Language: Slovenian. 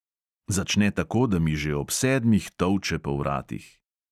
Začne tako, da mi že ob sedmih tolče po vratih.